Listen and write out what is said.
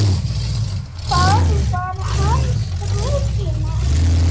Það var hans rútína.